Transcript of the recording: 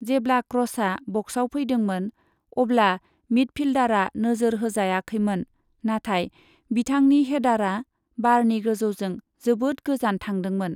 जेब्ला क्र'सआ बक्सआव फैदोंमोन, अब्ला मिडफील्डारआ नोजोर होजायाखैमोन, नाथाय बिथांनि हेडारा बारनि गोजौजों जोबोद गोजान थांदोंमोन।